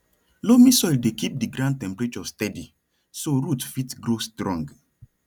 loamy soil dey keep di ground temperature steady so root fit grow strong